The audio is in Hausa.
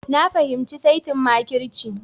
Na fahimci saitin makirci